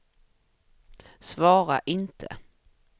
svara inte